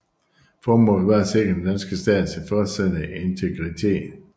Formålet var at sikre den danske stats fortsatte integritet